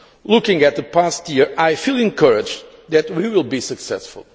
Looking at the past year I feel encouraged that we will be successful.